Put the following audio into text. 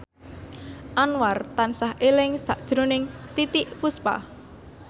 Anwar tansah eling sakjroning Titiek Puspa